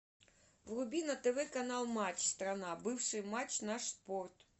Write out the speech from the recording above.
вруби на тв канал матч страна бывший матч наш спорт